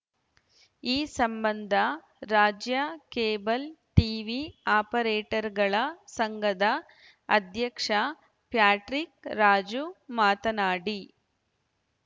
ಈ ಸಂಬಂಧ ರಾಜ್ಯ ಕೇಬಲ್‌ ಟೀವಿ ಆಪರೇಟರ್‌ಗಳ ಸಂಘದ ಅಧ್ಯಕ್ಷ ಪ್ಯಾಟ್ರಿಕ್‌ ರಾಜು ಮಾತನಾಡಿ